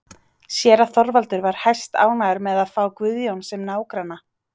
Séra Þorvaldur var hæstánægður með að fá Guðjón sem nágranna.